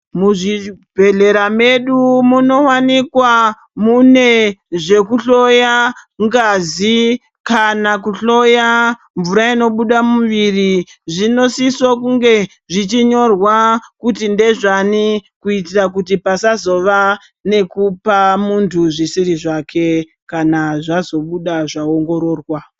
Muzvibhedhleya medu munowanikwa mune zvekuhloya ngazi kana kuhloya mvura inobude mumuviri zvinisise kunge zvichinyorwa kuti ndezvani kuitira kuti pasazova nekupa muntu zvisiri zvake kana zvazobuda zvaongororwa.